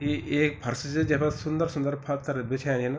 यु ऐक फर्श च जेफार सुंदर सुंदर पत्थर बिछाया छिन ।